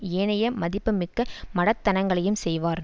ஏனைய மதிப்புமிக்க மடத்தனங்களையும் செய்வார்